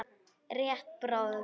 Rétt bráðum.